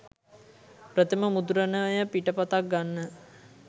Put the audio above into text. ප්‍රථම මුද්‍රණය පිටපතක් ගන්න